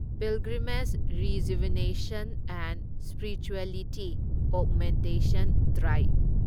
pilgrimage rejuvenation and spirituality augmentation drive